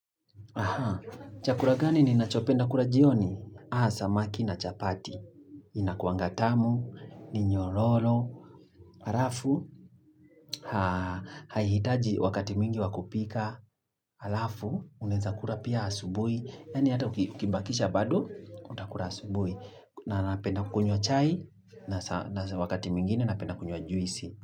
Aha, chakula gani ninachopenda kula jioni? Aa, samaki na chapati. Inakuanga tamu, ni nyororo, halafu, haihitaji wakati mwingi wa kupika, halafu, unaeza kula pia asubuhi. Yaani hata ukibakisha bado, utakula asubuhi. Na napenda kunywa chai, na wakati mwingine napenda kunywa juisi.